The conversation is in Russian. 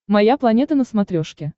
моя планета на смотрешке